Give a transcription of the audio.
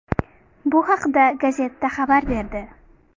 Bu haqda Gazzetta xabar berdi .